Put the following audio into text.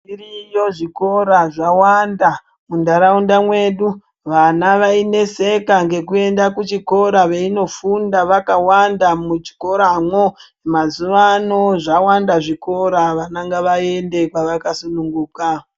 Zviriyo zvikora zvawanda muntaraunda mwedu vana vaineseka ngekuenda kuchikora veinofunda vakawanda muchikoramwo. Mazuva ano zvawanda zvikora vana ngavaende kwavakasununguka.